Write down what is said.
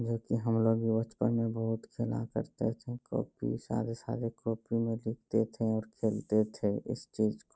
जो कि हमलोग भी बचपन में बहुत खेला करता थे कॉपी सारे-सारे कॉपी में लिखते थे और खेलते थे इस चीज़ --